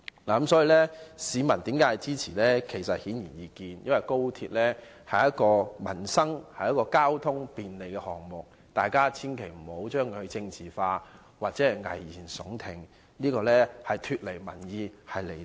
至於市民為何支持高鐵，這是顯而易見的，因為高鐵是便利交通的民生項目，所以大家千萬別把高鐵政治化，又或危言聳聽，這樣做只會脫離民意，是離地的。